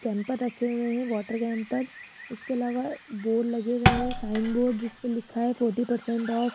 camper रखे हुए हैं वॉटर कैंपर उसके अलावा बोर्ड लगे हुए हैं साइन बोर्ड जिस पे लिखा है फोर्टी परसेंट ऑफ --